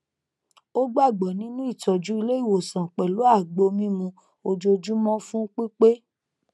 ó gbàgbọ nínú ìtọjú ilé ìwòsàn pẹlú àgbo mímu ojoojúmọ fún pípé